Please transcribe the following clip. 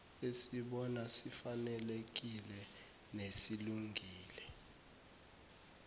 esibona sifanelekile nesilungile